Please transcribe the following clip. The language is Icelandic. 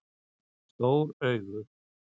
Stór augu